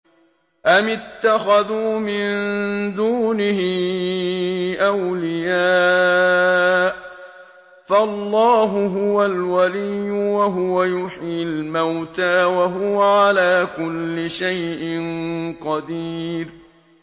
أَمِ اتَّخَذُوا مِن دُونِهِ أَوْلِيَاءَ ۖ فَاللَّهُ هُوَ الْوَلِيُّ وَهُوَ يُحْيِي الْمَوْتَىٰ وَهُوَ عَلَىٰ كُلِّ شَيْءٍ قَدِيرٌ